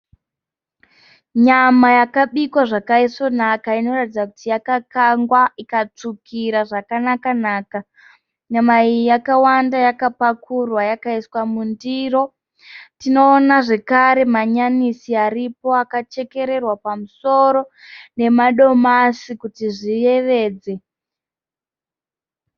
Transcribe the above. Nyama yakabikwa zvakaisvonaka inoratidza kuti yakakangwa ikatsvukira zvakanaka-naka. Nyama iyi yakawanda yakapakurwa ikaiswa mundiro. Tinoona zvakare manyanisi akachekererwa pamusoro nemadomasi kuti zviyevedze.